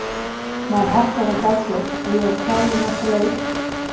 Maður harkar þetta af sér og ég verð klár í næsta leik.